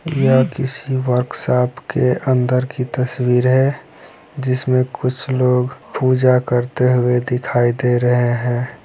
य किसी की वर्कशॉप के अंदर की तस्वीर है। जिसमे कुछ लोग पूजा करते हुए दिखाई दे रहे है।